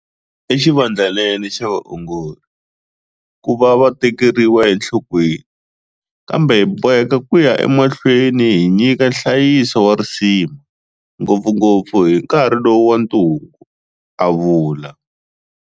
I xivandlanene xa vaongori ku va va tekeriwa enhlokweni, kambe hi boheka ku ya emahlweni hi nyika nhlayiso wa risima, ngopfungopfu hi nkarhi lowu wa ntungu, a vula.